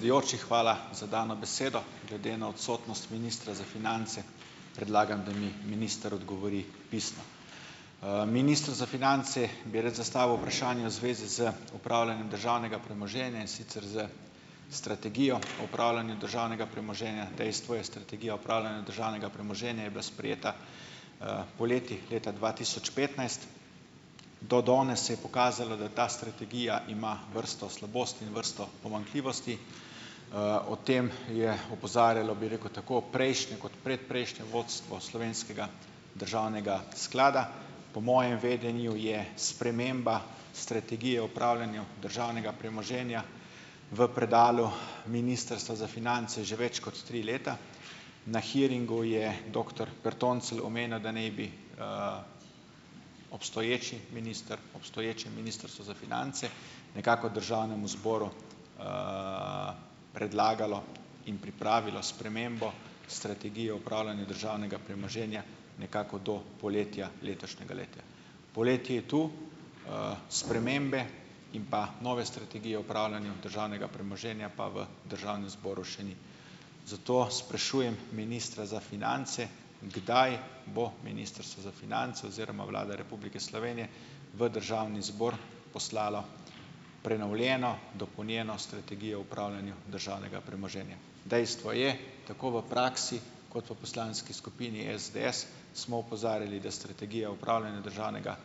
... hvala za dano besedo. Glede na odsotnost ministra za finance, predlagam, da mi minister odgovori pisno. Ministru za finance bi rad zastavil vprašanje v zvezi z upravljanjem državnega premoženja, in sicer s strategijo upravljanja državnega premoženja. Dejstvo je, strategija upravljanja državnega premoženja je bila sprejeta, poleti leta dva tisoč petnajst. Do danes se je pokazalo, da ta strategija ima vrsto slabosti in vrsto pomanjkljivosti. O tem je opozarjalo, bi rekel, tako prejšnje, kot predprejšnje vodstvo slovenskega državnega sklada. Po mojem vedenju je sprememba strategije upravljanja državnega premoženja v predalu Ministrstva za finance že več kot tri leta. Na hearingu je doktor Bertoncelj omenil, da ne bi, obstoječi minister, obstoječe Ministrstvo za finance nekako državnemu zboru, predlagalo in pripravilo spremembo strategije upravljanja državnega premoženja nekako do poletja letošnjega leta. Poletje je to. Spremembe in pa nove strategije upravljanja državnega premoženja pa v državnem zboru še ni. Zato sprašujem ministra za finance: Kdaj bo Ministrstvo za finance oziroma Vlada Republike Slovenije v državni zbor poslala prenovljeno dopolnjeno strategijo o upravljanju državnega premoženja? Dejstvo je, tako v praksi kot v poslanski skupini SDS smo opozarjali, da strategija upravljanja državnega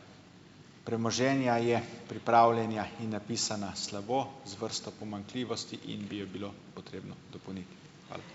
premoženja je pripravljena in napisana slabo z vrsto pomanjkljivosti in bi jo bilo potrebno dopolniti. Hvala.